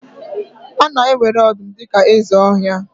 A na-ewere ọdụm dị ka eze ọhịa